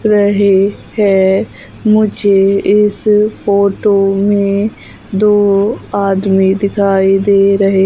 रहे है मुझे इस फोटो में दो आदमी दिखाई दिखाई दे रहे--